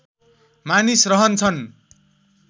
मानिस रहन्छन्